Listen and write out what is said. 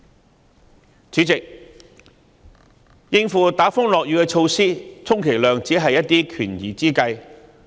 代理主席，應付打風落雨的措施，充其量只是權宜之計。